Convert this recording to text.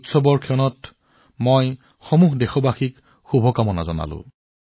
এই উৎসৱসমূহ উপলক্ষে মই মোৰ সকলো দেশবাসীলৈ শুভেচ্ছা জনাইছো